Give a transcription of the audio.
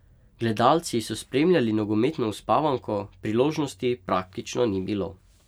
Gledalci so spremljali nogometno uspavanko, priložnosti praktično ni bilo.